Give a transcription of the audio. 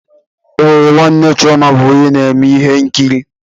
Ee, nwanne chioma bụ onye na-eme ihe nkiri.